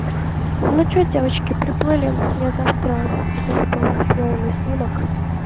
ну что девочки приплыли я завтра иду в полвосьмого на снимок